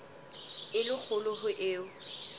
e le kgolo ho eo